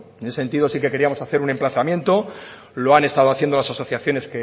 en ese sentido sí que queríamos hacer un emplazamiento lo han estado haciendo las asociaciones